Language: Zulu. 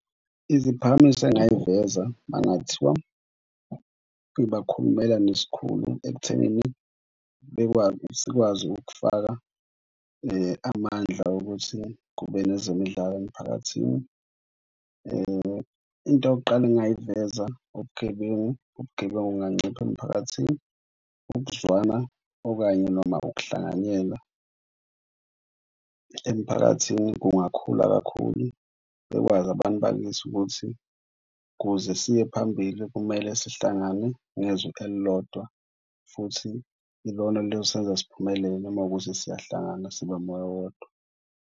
Iziphakamiso engayiveza mangathiwa ngibakhulumela neskhulu ekuthenini sikwazi ukufaka amandla wokuthi kube nezemidlalo emiphakathini. Into yokuqala engingayiveza ubugebengu, ubugebengu bunganciphisa emphakathini. Ukuzwana okanye noma ukuhlanganyela emphakathini kungakhula kakhulu. Bekwazi abantu bakithi ukuthi kuze siye phambili kumele sihlangane ngezwi elilodwa futhi ilona eliyosebenza siphumelele uma kuwukuthi siyahlangana, siba umoya wodwa.